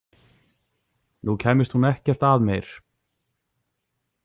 Nú kæmist hún ekkert að meir.